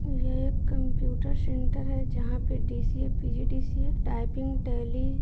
यह एक computer centre हैजहां पे D C A P G D C A typing Tally --